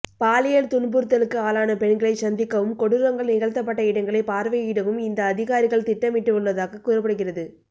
பாலியல் துன்புறுத்தலுக்கு ஆளான பெண்களைச் சந்திக்கவும் கொடூரங்கள் நிகழ்த்தப்பட்ட இடங்களைப் பார்வையிடவும் இந்த அதிகாரிகள் திட்ட மிட்டுள்ளதாகக் கூறப்படுகிறது